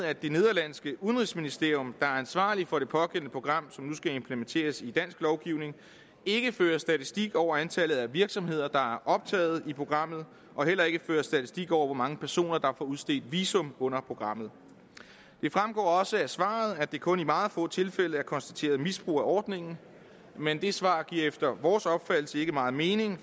at det nederlandske udenrigsministerium der ansvarligt for det pågældende program som nu skal implementeres i dansk lovgivning ikke fører statistik over antallet af virksomheder der optaget i programmet og heller ikke fører statistik over hvor mange personer der får udstedt visum under programmet det fremgår også af svaret at der kun i meget få tilfælde er konstateret misbrug af ordningen men det svar giver efter vores opfattelse ikke meget mening